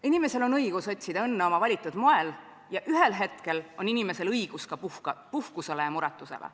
Inimesel on õigus otsida õnne oma valitud moel ja ühel hetkel on inimesel õigus ka puhkusele ja muretusele.